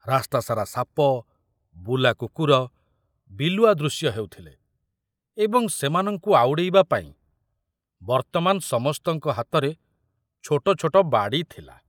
ରାସ୍ତା ସାରା ସାପ, ବୁଲା କୁକୁର, ବିଲୁଆ ଦୃଶ୍ୟ ହେଉଥିଲେ ଏବଂ ସେମାନଙ୍କୁ ଆଉଡ଼େଇବା ପାଇଁ ବର୍ତ୍ତମାନ ସମସ୍ତଙ୍କ ହାତରେ ଛୋଟ ଛୋଟ ବାଡ଼ି ଥିଲା।